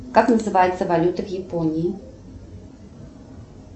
как называется валюта в японии